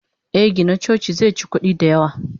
Eh Gina coci zeci kudi da yawa.